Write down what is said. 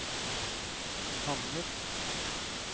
kanner